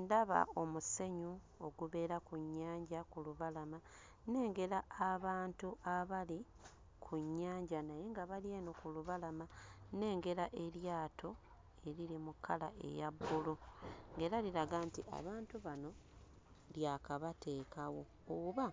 Ndaba omusenyu ogubeera ku nnyanja ku lubalama, nnengera abantu abali ku nnyanja naye nga bali eno ku lubalama. Nnengera eryato eriri mu kkala eya bbulu era liraga nti abantu bano lyakabateekawo oba